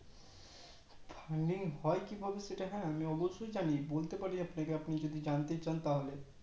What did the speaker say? Funding হয় কিভাবে সেটা আমি অবশ্যই বলতে পারি আপনাকে আপনি যদি জানতে চান তাহলে